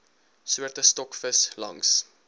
soorte stokvis langs